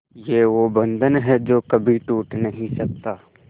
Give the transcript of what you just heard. ये वो बंधन है जो कभी टूट नही सकता